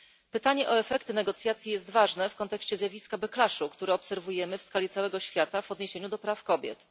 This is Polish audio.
Pytanie o efekty negocjacji jest ważne w kontekście zjawiska backlashu który obserwujemy w skali całego świata w odniesieniu do praw kobiet.